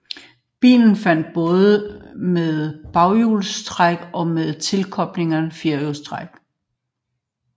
Bilen fandtes både med baghjulstræk og med tilkobleligt firehjulstræk